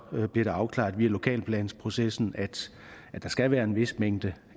bliver afklaret via lokalplansprocessen at der skal være en vis mængde